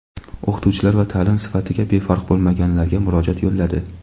o‘qituvchilar va ta’lim sifatiga befarq bo‘lmaganlarga murojaat yo‘lladi.